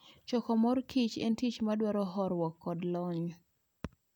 Choko mor kich en tich madwaro horuok koda lony.